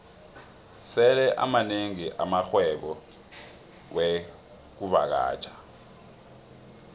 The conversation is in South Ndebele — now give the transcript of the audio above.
sele amanengi amarhwebo wexkuvakatjha